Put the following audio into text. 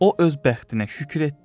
O öz bəxtinə şükür etdi.